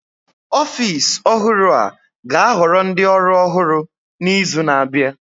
Ọfịs ọhụrụ a ga-ahoro ndị ọrụ ọhụr n'izu na-abịa